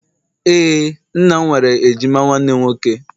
ee, nna m nwere ejima nwanne nwoke